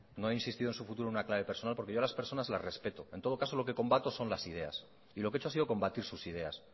no he insistido en su futuro en una clave personal porque yo a las personas las respeto en todo caso lo que combato las ideas y lo que he hecho ha sido combatir sus ideas